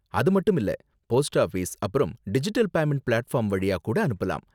அது மட்டும் இல்ல, போஸ்ட் ஆபீஸ் அப்பறம் டிஜிட்டல் பேமண்ட் பிளாட்ஃபார்ம் வழியா கூட அனுப்பலாம்.